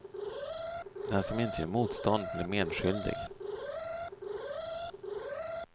Den som inte gör motstånd blir medskyldig.